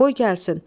Qoy gəlsin.